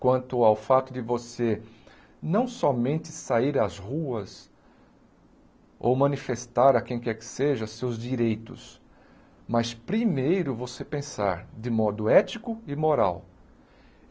quanto ao fato de você não somente sair às ruas ou manifestar a quem quer que seja seus direitos, mas primeiro você pensar de modo ético e moral.